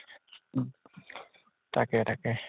তাকে তাকে ।